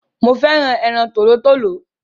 Mo féràn ẹran tòlótòló